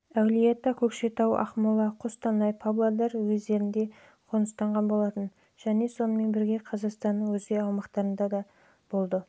әулиеата көкшетау ақмола қостанай павлодар уездерінде қоныстанған болатын және сонымен бірге қазақстанның өзге аймақтарында да